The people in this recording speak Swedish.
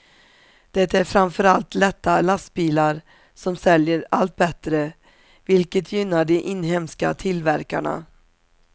Det är framför allt lätta lastbilar som säljer allt bättre, vilket gynnar de inhemska tillverkarna.